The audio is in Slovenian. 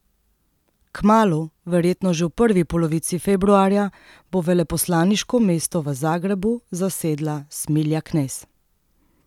Kmalu, verjetno že v prvi polovici februarja, bo veleposlaniško mesto v Zagrebu zasedla Smilja Knez.